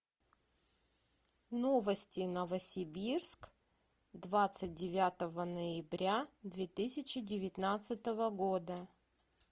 новости новосибирск двадцать девятого ноября две тысячи девятнадцатого года